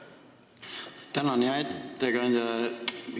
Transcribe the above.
Tänan, hea istungi juhataja!